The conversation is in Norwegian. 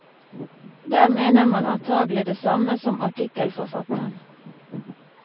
Der mener man antagelig det samme som artikkelforfatteren.